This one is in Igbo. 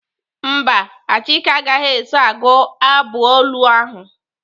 Mba, Achike agaghị eso agụ abụ olu ahụ.